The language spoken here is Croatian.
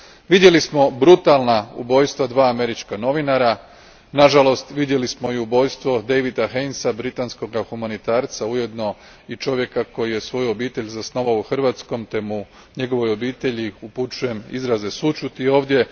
Vidjeli smo brutalna ubojstva dva američka novinara, nažalost vidjeli smo i ubojstvo Davida Hainesa, britanskoga humanitarca, ujedno i čovjeka koji je svoju obitelj zasnovao u Hrvatskoj, te njegovoj obitelji upućujem izraze sućuti ovdje.